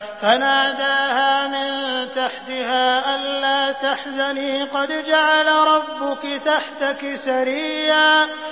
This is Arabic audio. فَنَادَاهَا مِن تَحْتِهَا أَلَّا تَحْزَنِي قَدْ جَعَلَ رَبُّكِ تَحْتَكِ سَرِيًّا